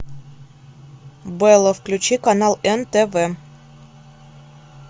белла включи канал нтв